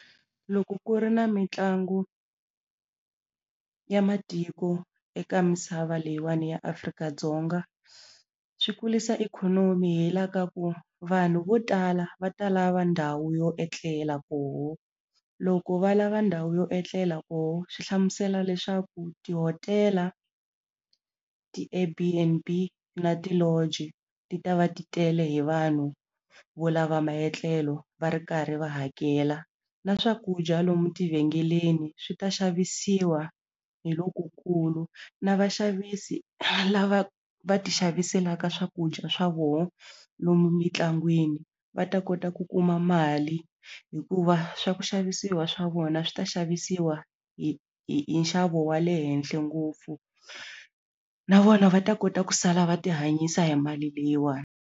Loko ku ri na mitlangu ya matiko eka misava leyiwani ya Afrika-Dzonga swi kulisa ikhonomi hi la ka ku vanhu vo tala va ta lava ndhawu yo etlela koho loko va lava ndhawu yo etlela koho swi hlamusela leswaku tihotela ti Airbnb na ti-lounge ti ta va ti tele hi vanhu vo lava maetlelo va ri karhi va hakela na swakudya lomu tivhengeleni swi ta xavisiwa hi lokukulu na vaxavisi lava va ti xaviselaka swakudya swa voho lomu mintlangwini va ta kota ku kuma mali hikuva swa ku xavisiwa swa vona swi ta xavisiwa hi hi hi nxavo wa le henhle ngopfu na vona va ta kota ku sala va ti hanyisa hi mali leyiwani.